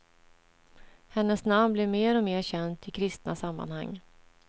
Hennes namn blev mer och mer känt i kristna sammanhang.